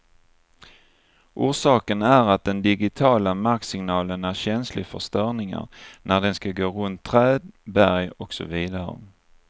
Orsaken är att den digitiala marksignalen är känslig för störningar när den skall gå runt träd, berg och så vidare.